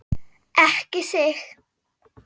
Ekki þig!